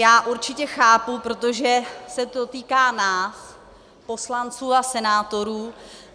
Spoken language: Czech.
Já určitě chápu, protože se to týká nás, poslanců a senátorů.